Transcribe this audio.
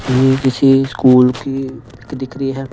ये किसी स्कूल की दिख रही है।